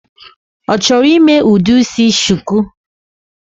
Ọchọrọ ime udi isi shuku?